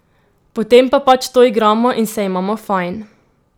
Potem pa pač to igramo in se imamo fajn!